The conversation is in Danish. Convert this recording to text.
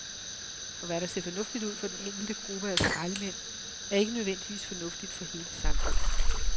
For hvad der ser fornuftigt ud for den enkelte gruppe af skraldemænd, er ikke nødvendigvis fornuftigt for hele samfundet.